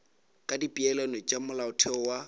ka dipeelano tša molaotheo wa